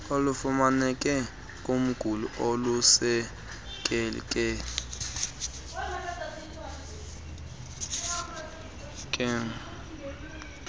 olufumaneke kumguli olusekeke